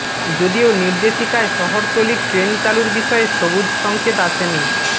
যদিও নির্দেশিকায় শহরতলির ট্রেন চালুর বিষয়ে সবুজ সঙ্কেত আসেনি